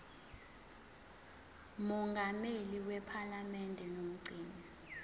mongameli wephalamende nomgcini